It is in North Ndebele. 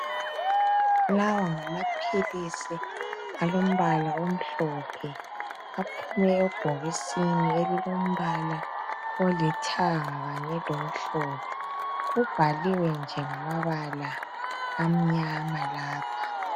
Lawa ngamaphilisi alombala omhlophe aphume ebhokisini elilombala olithanga kanye lomhlophe kubhaliwe nje ngamabala amnyama lapha.